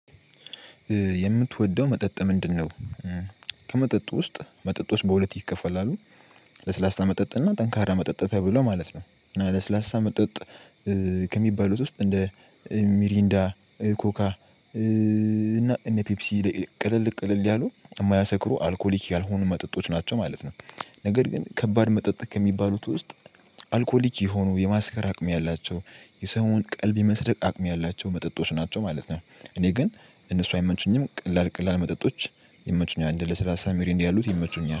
የምትወደው መጠጥ ምንድነው? እ ከመጠጥ ውስጥ መጠጦች ውስጥ በሁለት ይከፈላሉ ለስላሳ መጠጥ እና ጠንካራ መጠጥ ተብሎ ማለት ነው እና ለስላሳ መጠጥ ከሚባሉት ውስጥ እንደ ሚሪንዳ ኮካ እና እንደ ፔፕሲ ቅልል ቅልል ያሉ የማያሰክሩ አልኮሊክ ያልሆኑ መጠጦች ናቸው ማለት ነው። ነገር ግን ከባድ መጠጥ ከሚባሉት ውስጥ አልኮሊክ የሆኑ የማስከር አቅም ያላቸው የሰውን ቀልብ የመስረቅ አቅም ያላቸው መጠጦች ናቸው ማለት ነው። እኔ ግን እነሱ አይመንቹኝም ቀላል ቀላል መጠጦች ይመቹኛል እንደ ለሰላሳ ሚሪንዳ ያሉት ይመቹኛል